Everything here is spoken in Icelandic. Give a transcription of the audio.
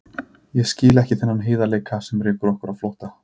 Ég skil ekki þennan heiðarleika sem rekur okkur á flótta.